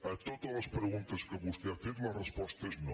a totes les pregun·tes que vostè ha fet la resposta és no